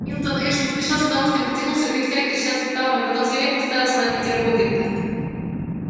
милтон эш не спеша с удовольствием потянулся кряхтя и треща суставами потом свирепо уставился на питера богерта